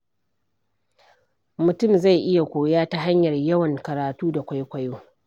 Mutum zai iya koya ta hanyar yawan karatu da kwaikwayo.